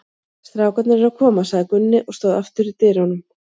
Strákarnir eru að koma, sagði Gunni og stóð aftur í dyrunum.